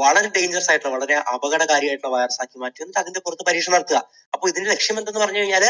വളരെ dangerous ആയിട്ടുള്ള വളരെ അപകടകാരിയായിട്ടുള്ള virus ആക്കി മാറ്റുക. എന്നിട്ട് അതിൻറെ പുറത്ത് പരീക്ഷണം നടത്തുക. അപ്പോൾ ഇതിൻറെ ലക്ഷ്യം എന്ന് പറഞ്ഞു കഴിഞ്ഞാൽ